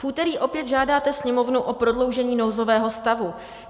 V úterý opět žádáte Sněmovnu o prodloužení nouzového stavu.